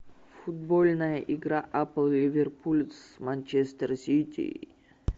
футбольная игра апл ливерпуль с манчестер сити